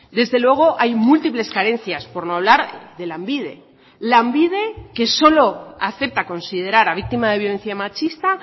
desde luego hay múltiples carencias por no hablar de lanbide lanbide que solo acepta considerar a víctima de violencia machista a